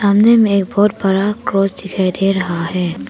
सामने में एक बहुत बड़ा क्रॉस दिखाई दे रहा है।